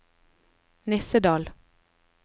Nissedal